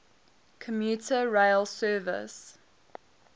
commuter rail service